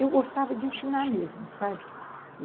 Eu gostava de ensinar mesmo, sabe?